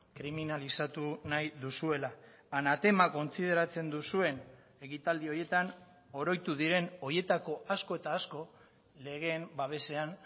kriminalizatu nahi duzuela anatema kontsideratzen duzuen ekitaldi horietan oroitu diren horietako asko eta asko legeen babesean